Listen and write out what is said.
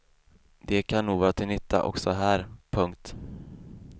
De kan nog vara till nytta också här. punkt